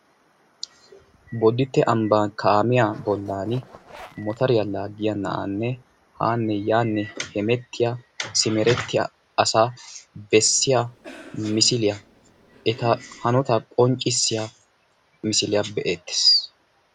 Boditte ambba bollan kaamiyanne motoriya laagiya na'anne yaane haane hemettiya na'ay beetees.